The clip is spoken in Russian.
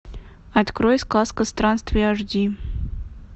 открой сказка странствий аш ди